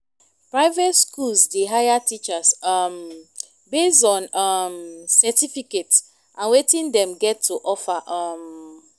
private schools dey hire teachers um based on um certificate and wetin dem get to offer um